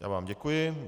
Já vám děkuji.